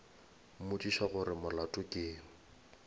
mmotšiša gore molato ke eng